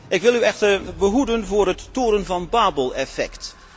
Ik wil u echter behoeden voor het toren van Babel effect.